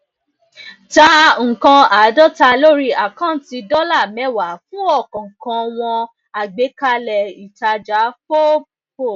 ta nnkan àádọta lórí àkáǹtì dọlà mẹwàá fún ọkọọkan wọn àgbékalẹ ìtajà fob fob